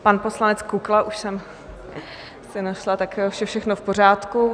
Pan poslanec Kukla, už jsem si našla, tak už je všechno v pořádku.